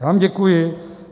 Já vám děkuji.